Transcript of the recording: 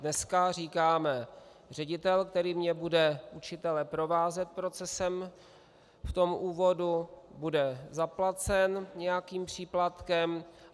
Dneska říkáme: ředitel, který mně bude učitele provázet procesem v tom úvodu, bude zaplacen nějakým příplatkem.